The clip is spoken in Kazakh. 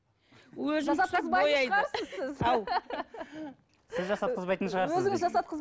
сіз жасатқызбайтын шығарсыз